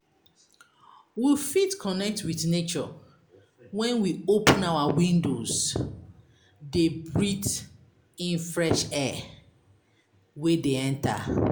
We fit connect with nature when we open our windows de breath in fresh air wey de enter